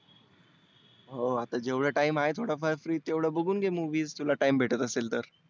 हो जेव्हढा time आहे थोडा फार free तेव्हढ बघुन घे movies तुला time भेटत असेल तर.